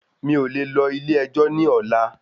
Mí ò ní le lọ ilé ẹjọ́ ní ọlá